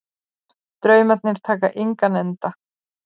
Draumarnir taka engan enda